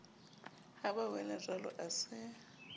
ha ba welajwalo a se